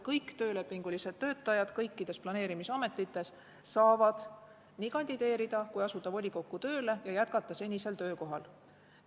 Kõik töölepingulised töötajad kõikides planeerimisametites saavad nii kandideerida volikokku kui ka asuda volikokku tööle ja jätkata senisel töökohal.